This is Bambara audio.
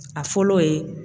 A fɔlɔ ye